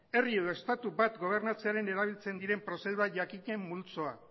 herri edo estatu bat gobernatzearen erabiltzen diren prozedura jakinen multzoa